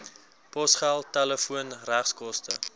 posgeld telefoon regskoste